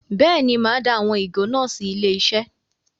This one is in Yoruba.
Bẹ́ẹ̀ ni, màá dá àwọn ìgò náà sí ilé-iṣẹ́.